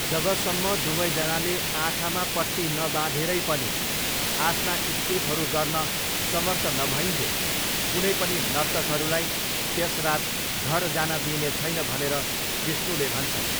जबसम्म दुवैजनाले आँखामा पट्टी नबाँधेरै पनि आफ्ना स्टेपहरू गर्न समर्थ नभईन्जेल कुनै पनि नर्तकहरूलाई त्यस रात घर जान दिइने छैन भनेर विष्णुले भन्छन्।